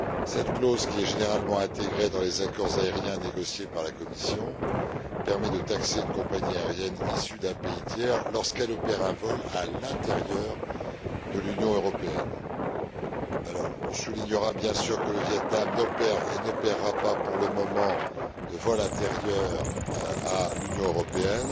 Cette clause, qui est généralement intégrée dans les accords aériens négociés par la Commission, permet de taxer une compagnie aérienne issue d'un pays tiers lorsqu'elle opère un vol à l'intérieur de l'Union européenne. On soulignera, bien sûr, que le Viêt Nam n'opère et n'opérera pas pour le moment de vol intérieur à l'Union européenne.